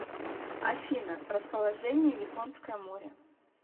афина расположение японское море